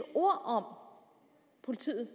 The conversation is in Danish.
ord om politiet